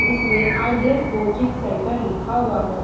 जिसमें ideal coaching centre लिखा हुआ है।